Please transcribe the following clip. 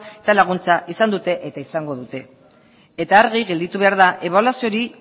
eta laguntza izan dute eta izango dute eta argi gelditu behar da ebaluazio hori